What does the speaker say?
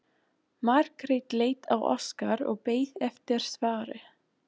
Margrét leit á Óskar og beið eftir svari.